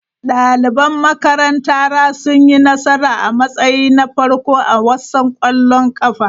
Daliban makarantara sun yi nasara a matsayi na farko a wasan ƙwallon ƙafa.